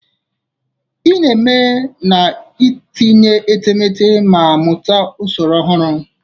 Ị na-eme n'itinye etemeete ma mụta usoro ọhụrụ.